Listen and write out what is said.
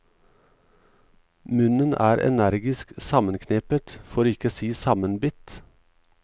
Munnen er energisk sammenknepet, for ikke å si sammenbitt.